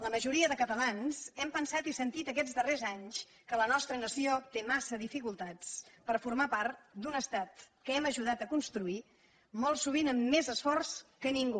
la majoria de catalans hem pensat i sentit aquests darrers anys que la nostra nació té massa dificultats per formar part d’un estat que hem ajudat a construir molt sovint amb més esforç que ningú